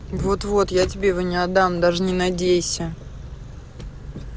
вот вот я тебе его не отдам даже не надейся